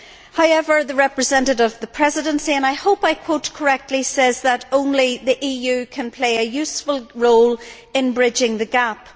However, the representative of the Presidency and I hope I quote correctly says that only the EU can play a useful role in bridging the gap.